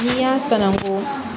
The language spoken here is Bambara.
N'i y'a san ko